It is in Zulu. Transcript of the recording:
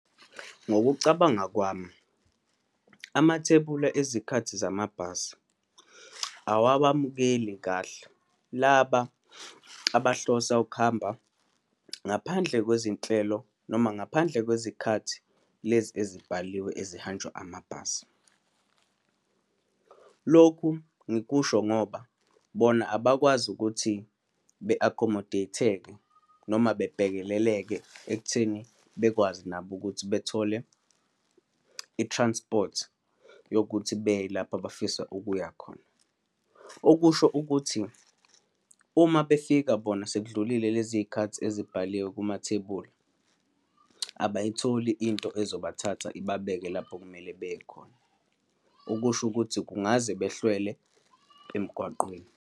Ngokucabanga kwami, amathebula ezikhathi zamabhasi awabamukeli kahle laba abahlosa ukuhamba ngaphandle kwezinhlelo, noma ngaphandle kwezikhathi lezi ezibhaliwe ezihanjwa amabhasi. Lokhu ngikusho ngoba bona abakwazi ukuthi be-accommodate-eke noma bebhekeleleke ekutheni bekwazi nabo ukuthi bethole i-transport yokuthi beye lapho abafisa ukuya khona. Okusho ukuthi, uma befika bona sekudlulile leziy'khathi ezibhaliwe kumathebula, abayitholi into ezobathatha ibabeke lapho okumele beye khona, okusho ukuthi kungaze behlelwe emgwaqeni.